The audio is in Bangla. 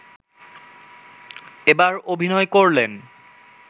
এবার অভিনয় করলেন